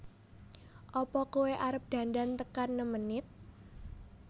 Apa koe arep dandan tekan nem menit